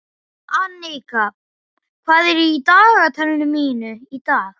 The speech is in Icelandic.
Annika, hvað er í dagatalinu mínu í dag?